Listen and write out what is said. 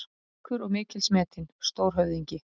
Ríkur og mikils metinn: Stórhöfðingi.